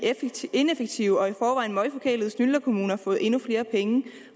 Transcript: ineffektive og i forvejen møg forkælede snylter kommuner fået endnu flere penge